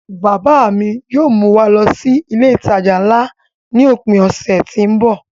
Bàbá à mi yóò mú wa lọ sí ilé-ìtàjà ńlá ni òpin ọ̀sẹ̀ tí ń bọ̀.